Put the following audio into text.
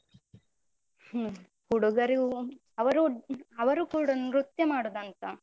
ಹ್ಮ್. ಹುಡುಗರು ಅವರು ಅವರು ಕೂಡ ನೃತ್ಯ ಮಾಡುದಂತ.